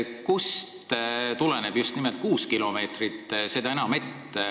Kust tuleneb see just nimelt kuus kilomeetrit?